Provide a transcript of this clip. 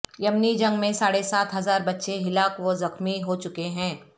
یمنی جنگ میں ساڑھے سات ہزار بچے ہلاک و زخمی ہو چکے ہیں